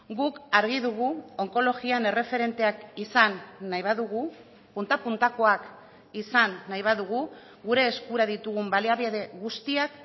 guk argi dugu onkologian erreferenteak izan nahi badugu punta puntakoak izan nahi badugu gure eskura ditugun baliabide guztiak